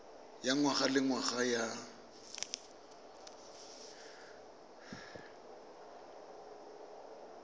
ya ngwaga le ngwaga ya